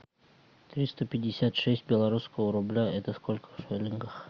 триста пятьдесят шесть белорусского рубля это сколько в шиллингах